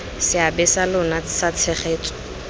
seabe sa lona sa tshegetso